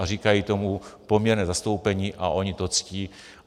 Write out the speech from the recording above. A říkají tomu poměrné zastoupení a oni to ctí.